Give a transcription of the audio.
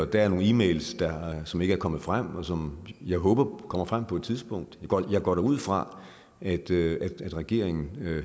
der er nogle e mails som ikke er kommet frem og som jeg håber kommer frem på et tidspunkt jeg går da ud fra at regeringen